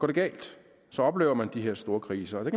det galt så oplever man de her store kriser og der